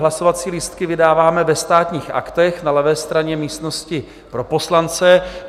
Hlasovací lístky vydáváme ve Státních aktech na levé straně místnosti pro poslance.